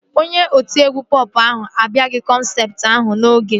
Onye otiegwu pọp ahụ abịaghị kọnsaati ahụ n'oge